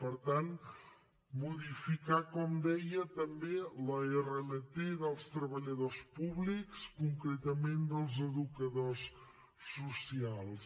per tant modificar com deia també l’rlt dels treballadors públics concretament dels educadors socials